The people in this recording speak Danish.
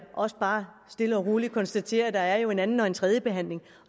også bare stille og roligt konstaterer at der jo er en anden og en tredjebehandling